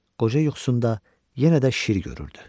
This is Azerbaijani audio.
Qoca yuxusunda yenə də şir görürdü.